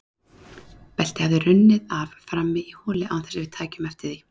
Beltið hafði runnið af frammi í holi án þess að við tækjum eftir því.